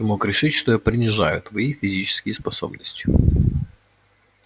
ты мог решить что я принижаю твои физические способности